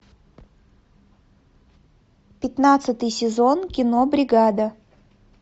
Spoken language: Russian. пятнадцатый сезон кино бригада